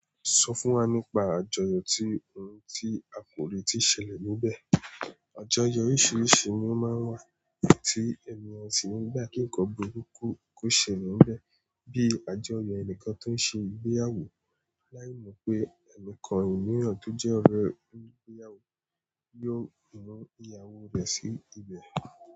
Sọ fún wa nípa àjọyọ̀ tí òun ti akọ̀wé ti ṣẹlẹ̀ níbẹ̀. Àjọyọ̀ oríṣiríṣi ni ó máa ń wà tí ènìyàn sì ń gbá kí nǹkan burúkú kó ṣẹlẹ̀ níbẹ̀ bíi àjọyọ̀ ẹnìkan tó ń ṣe ìgbéyàwó láì mọ̀ pé ẹnìkan nínú àwọn tó jẹ́ ọ̀rẹ́ ìgbéyàwó yóò mú ìyàwó rẹ̀ sí ibẹ̀.